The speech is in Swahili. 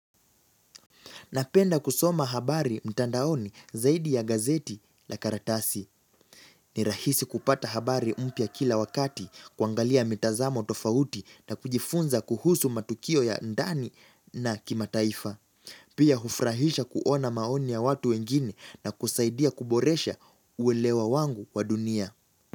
Napenda kusoma habari mtandaoni zaidi ya gazeti la karatasi. Ni rahisi kupata habari mpya kila wakati kuangalia mitazamo tofauti na kujifunza kuhusu matukio ya ndani na kimataifa. Pia hufurahisha kuona maoni ya watu wengine na kusaidia kuboresha uwelewa wangu kwa dunia.